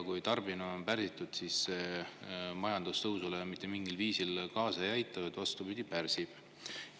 Kui tarbimine on pärsitud, siis see majandustõusule mitte mingil viisil kaasa ei aita, vaid vastupidi, pärsib seda.